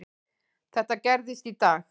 Þetta gerðist í dag.